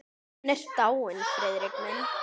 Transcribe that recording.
Hún er dáin, Friðrik minn.